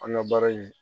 An ka baara in